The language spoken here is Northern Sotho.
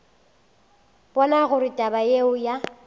bona gore taba yeo ya